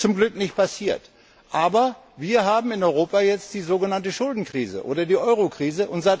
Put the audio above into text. Das ist zum Glück nicht passiert. Aber wir haben in Europa jetzt die so genannte Schuldenkrise oder die Euro Krise.